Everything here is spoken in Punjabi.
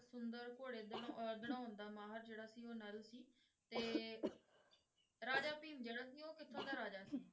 ਸੁੰਦਰ ਘੋੜੇ ਦੜਾ~ ਦੜਾਉਂਦਾ ਦਾ ਮਾਹਰ ਜਿਹੜਾ ਸੀ ਉਹ ਨਲ ਸੀ, ਤੇ ਰਾਜਾ ਭੀਮ ਜਿਹੜਾ ਸੀ ਉਹ ਕਿੱਥੋਂ ਦਾ ਰਾਜਾ ਸੀ?